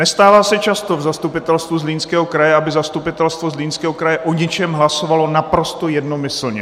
Nestává se často v Zastupitelstvu Zlínského kraje, aby Zastupitelstvo Zlínského kraje o něčem hlasovalo naprosto jednomyslně.